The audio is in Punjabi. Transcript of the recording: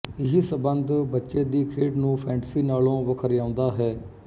ਇਹੀ ਸੰੰਬੰਧ ਬੱਚੇ ਦੀ ਖੇਡ ਨੂੰ ਫੈਂਟਸੀ ਨਾਲੋਂ ਵਖਰਿਆਉਂਦਾ ਹੈ